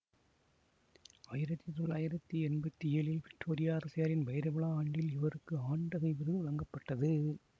ஆயிரத்தி தொளாயிரத்தி எண்பத்தி ஏழில் விக்டோரியா அரசியாரின் வைரவிழா ஆண்டில் இவருக்கு ஆண்டகை விருது வழங்கப்பட்டது